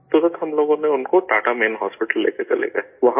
فوراً ہم لوگ ان کو ٹاٹا مین ہاسپیٹل لے کر چلے گئے